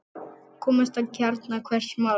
Komast að kjarna hvers máls.